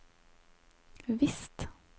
visst